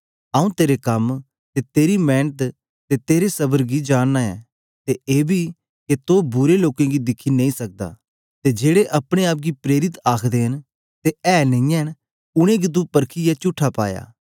आऊँ तेरे कम ते तेरी मेंनत ते तेरे सबर गी जानना ऐ ते एबी के तो बुरे लोकें गी दिखी नेई सकदा ते जेड़े अपने आप गी प्रेरित आखदे न ते ऐ नेईयै न उनेंगी तू परखीयै चुट्ठा पाया